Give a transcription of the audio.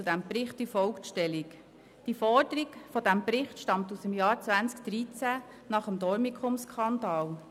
Die Forderung des Berichts stammt aus dem Jahr 2013 nach dem Dormicum-Skandal.